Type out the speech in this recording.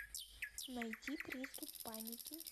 найти приступ паники